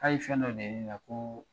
K'a ye fɛn dɔ de ne la ko